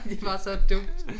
Det var så dumt